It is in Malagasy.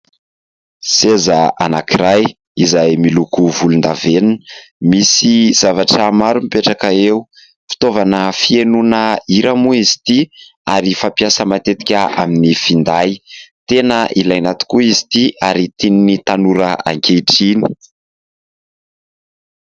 Seza anankiray izay miloko volondavenona misy zavatra maro mipetraka eo, fitaovana fihainoana hira moa izy ity ary fampiasa matetika amin'ny finday. Tena ilaina tokoa izy ity ary tian'ny tanora ankehitriny.